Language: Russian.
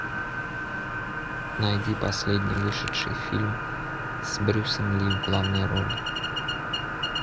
найди последний вышедший фильм с брюсом ли в главной роли